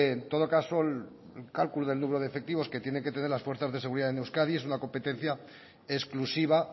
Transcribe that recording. en todo caso el cálculo de número de efectivos que tiene que tener las fuerzas de seguridad en euskadi es una competencia exclusiva